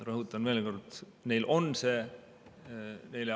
Rõhutan veel kord: neil on see.